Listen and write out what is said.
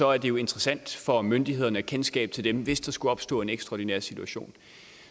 er det jo interessant for myndighederne at have kendskab til dem hvis der skulle opstå en ekstraordinær situation